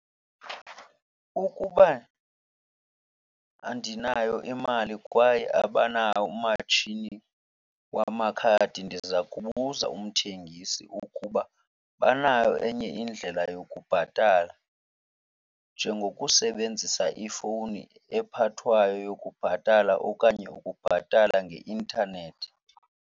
Ukuba andinayo imali kwaye abanawo umatshini wamakhadi ndiza kubuza umthengisi ukuba banayo enye indlela yokubhatala njengokusebenzisa ifowuni ephathwayo yokubhatala okanye ukubhatala ngeintanethi.